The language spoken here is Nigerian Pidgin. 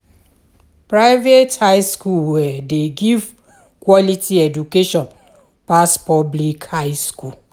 Private high school um de give quality education pass public high school